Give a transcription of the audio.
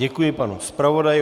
Děkuji panu zpravodaji.